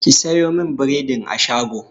Ki sayo min bredin a shago!